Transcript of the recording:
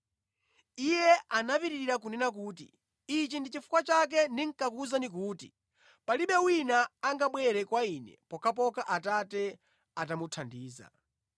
Iye anapitiriza kunena kuti, “Ichi ndi chifukwa chake ndinakuwuzani kuti palibe wina angabwere kwa Ine pokhapokha Atate atamuthandiza.”